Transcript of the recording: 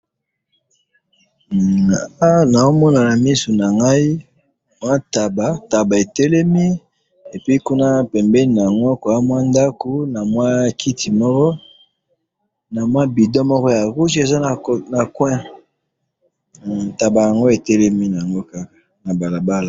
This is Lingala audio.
Awa nazomona namiso nangayi, mwa ntaba, taba etelemi, epuis kuna pembeni nango mwandako namwa kiti moko, namwa bidon moko ya rouge eza na coin, taba yango etelemi naango kaka nabalabala